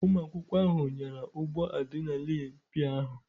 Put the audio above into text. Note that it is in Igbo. Ụmụ akwụkwọ ahụ nyara ụgbọ adịnalinu pịa ahụ.